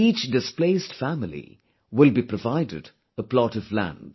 Each displaced family will be provided a plot of land